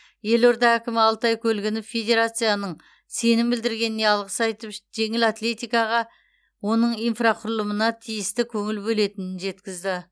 елорда әкімі алтай көлгінов федерацияның сенім білдіргеніне алғыс айтып жеңіл атлетикаға оның инфрақұрылымына тиісті көңіл бөлінетінін жеткізді